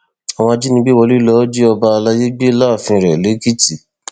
àwọn ajínigbé wọlé lọọ jí ọba àlàyé gbé láàfin rẹ lèkìtì